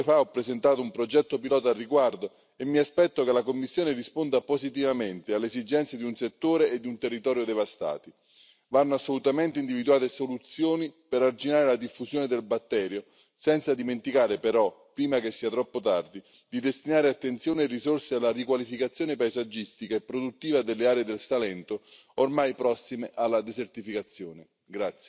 Poche ore fa ho presentato un progetto pilota al riguardo e mi aspetto che la Commissione risponda positivamente alle esigenze di un settore e di un territorio devastati. Vanno assolutamente individuate soluzioni per arginare la diffusione del batterio senza dimenticare, però, prima che sia troppo tardi, di destinare attenzione e risorse alla riqualificazione paesaggistica e produttiva delle aree del Salento, ormai prossime alla desertificazione.